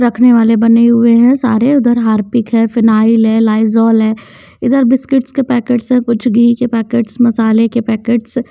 रखने वाले बने हुए हैं सारे उधर हार्पिक है फिनायल है लाइजोल है इधर बिस्किट्स के पैकेट्स है कुछ घी के पैकेट्स मसाले के पैकेट्स --